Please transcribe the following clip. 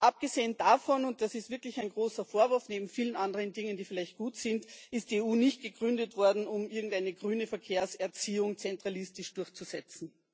Abgesehen davon und das ist wirklich ein großer Vorwurf neben vielen anderen Dingen, die vielleicht gut sind ist die EU nicht gegründet worden, um irgendeine grüne Verkehrserziehung zentralistisch durchzusetzen.